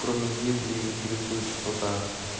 кроме ебли интересует что-то